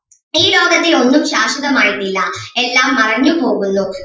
ഈ ലോകത്തിൽ ഒന്നും ശാശ്വതമായിട്ട് ഇല്ല എല്ലാം മറഞ്ഞു പോകുന്നു.